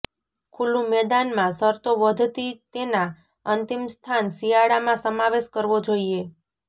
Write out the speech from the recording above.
ખુલ્લું મેદાન માં શરતો વધતી તેના અંતિમ સ્થાન શિયાળામાં સમાવેશ કરવો જોઇએ